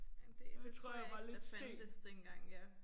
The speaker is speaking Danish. Jamen det det tror jeg ikke der fandtes dengang ja